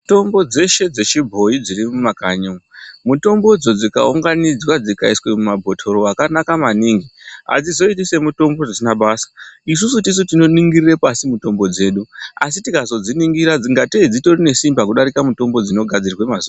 Mitombo dzeshe dzechibhoyi dziri mumakanyi umu, mitombo dzo dzikaunganidzwa dzikaiswa mumabhotoro akanaka maningi adzizoiti semitambo dzisina basa. Isusu tisu tinoningirira pasi mitombo dzedu asi tikazodziningira ingatei dzitori nesimba kudarika dzinogadzirwa mazuwa ana.